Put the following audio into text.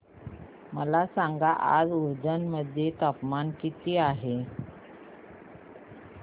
मला सांगा आज उज्जैन मध्ये तापमान किती आहे